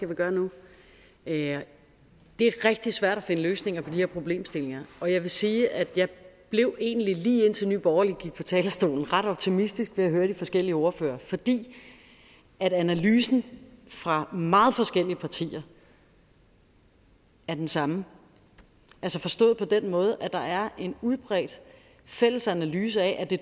vil gøre nu det er rigtig svært at finde løsninger på de her problemstillinger og jeg vil sige at jeg blev egentlig lige indtil nye borgerlige gik på talerstolen ret optimistisk da jeg hørte de forskellige ordførere fordi analysen fra meget forskellige partier er den samme altså forstået på den måde at der er en udbredt fælles analyse af at det